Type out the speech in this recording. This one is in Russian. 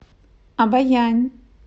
обоянь